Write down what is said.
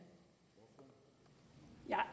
er